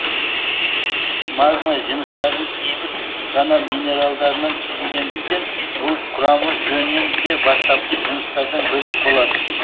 магма жыныстардың кейбір ғана минералдарынан түзілетіндіктен ол құрамы жөнінен де бастапқы жыныстардан бөлек болады